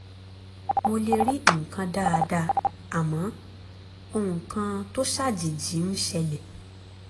mo lè rí nǹkan dáadáa àmọ́ ohun kan tó ṣàjèjì ń ṣẹlẹ̀